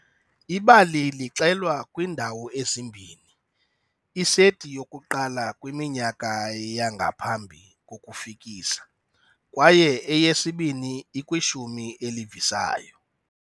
Ibali lixelwa kwiindawo ezimbini-iseti yokuqala kwiminyaka yangaphambi kokufikisa, kwaye eyesibini ikwishumi elivisayo.